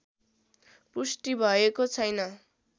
पुष्टि भएको छैन